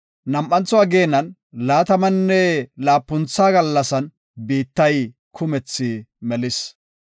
Nam7antho ageenan laatamanne laapuntha gallasan, biittay kumethi melis.